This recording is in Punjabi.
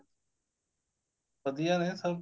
ਵਧੀਆ ਨੇ ਸਭ